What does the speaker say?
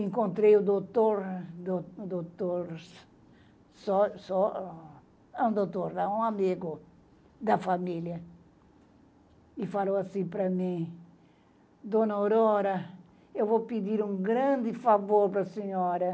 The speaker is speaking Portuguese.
Encontrei o doutor, doutor, só só um doutor, um amigo da família, e falou assim para mim, Dona Aurora, eu vou pedir um grande favor para a senhora.